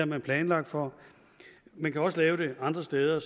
man planlagt for man kan også lave det andre steder